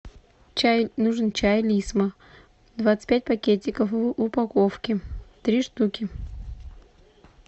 чай нужен чай лисма двадцать пять пакетиков в упаковке три штуки